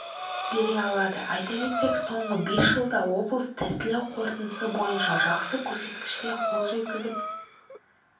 бере алады айта кетсек соңғы бес жылда облыс тестілеу қорытындысы бойынша жақсы көрсеткішке қол жеткізіп